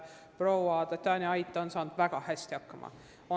Proua Tatjana Ait on seni väga hästi hakkama saanud.